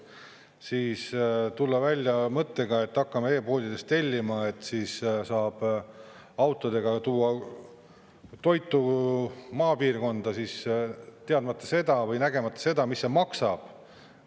Siis tulla välja mõttega, et hakkame e-poodidest tellima, siis saab autodega tuua toitu maapiirkonda, teadmata või nägemata seda, mis see maksab.